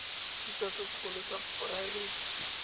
thuto se segolo sa poraebete